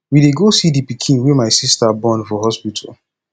we dey go see the pikin wey my sister born for hospital